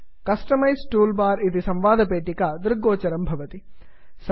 customise toolbar customise tool bar इति संवादपेटिका दृग्गोचरं भवति